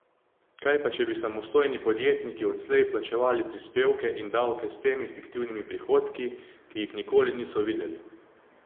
Kaj pa če bi samostojni podjetniki odslej plačevali prispevke in davke s temi fiktivnimi prihodki, ki jih nikoli niso videli?